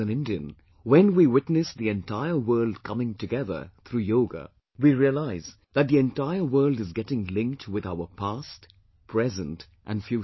As an Indian, when we witness the entire world coming together through Yoga, we realize that the entire world is getting linked with our past, present and future